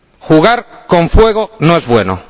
Jugar con fuego no es bueno.